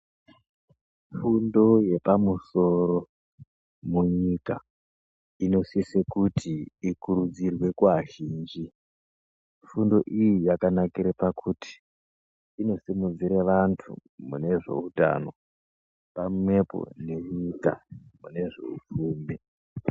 Fundo yepamusoro munyika inosise kuti ikurudzirwe kuvazhinji. Fundo iyi yakanakire pakuti inosimudzire vantu mune zveutano pamwepo nenyika mune zveupfumi.